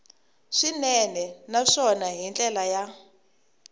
swinene naswona hi ndlela ya